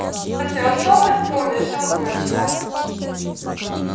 на севастопольской он решил заночевать